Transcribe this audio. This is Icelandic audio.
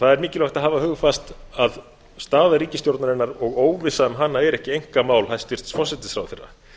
það er mikilvægt að hafa hugfast að staða ríkisstjórnarinnar og óvissa um hana er ekki einkamál hæstvirtur forsætisráðherra